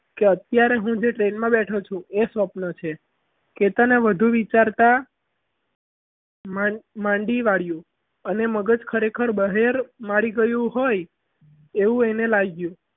કે અત્યારે જે હું train માં બેઠો છું એ સ્વપ્ન છે કે તને વધુ વિચારતા માંદી માંદી વાળી અને મગજ ખરેખર બહેર મારી ગયું હોય એવું એને લાગ્યું.